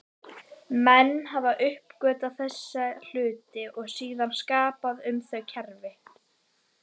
Menn hafi uppgötvað þessa hluti og síðan skapað um þau kerfi.